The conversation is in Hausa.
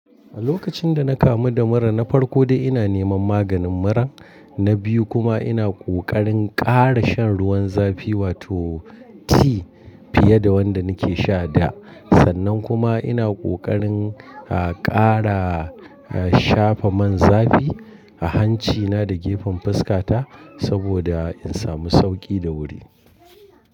A lokacin da na kamu da mura, na farko dai ina neman maganin mura. Na biyu kuma ina kokarin ƙara shan ruwan zafi wato tea fiye da wanda nake sha da. Sannan kuma ina kokarin, a, ƙara, a, shafa man zafi a hancina da gefen fuskata saboda in samu sauƙi da wuri.